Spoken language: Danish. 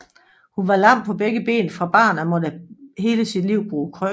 Hun var lam på begge ben fra barn af og måtte hele sit liv bruge krykker